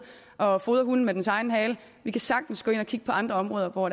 og fodrer hunden med dens egen hale vi kan sagtens gå ind og kigge på andre områder hvor